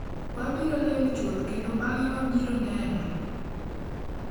Wabiro ling’ chuth kendo bang’e wabiro neno''.